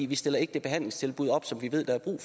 vi stiller ikke det behandlingstilbud op som vi ved der er brug